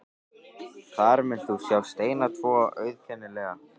Þar munt þú sjá steina tvo, auðkennilega.